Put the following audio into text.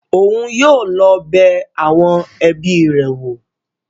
Oun yóò lọ bẹ awọn ẹbi rẹ wo